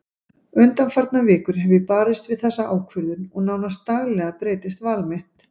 Undanfarnar vikur hef ég barist við þessa ákvörðun og nánast daglega breytist val mitt.